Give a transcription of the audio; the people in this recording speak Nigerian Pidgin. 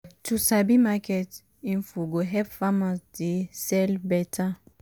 to sabi market info go help farmers dey sell beta